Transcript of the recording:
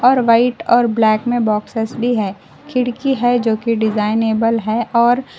और वाइट और ब्लैक में बॉक्सेस भी है खिड़की है जो कि डिज़ाइनेबल है और--